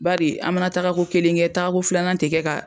Baari an mana taaga ko kelen kɛ taaga ko filanan tɛ kɛ ka.